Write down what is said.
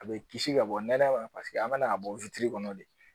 A bɛ kisi ka bɔ nɛma paseke an bɛna a bɔ kɔnɔ de